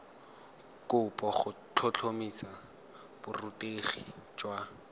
kopo go tlhotlhomisa borutegi jwa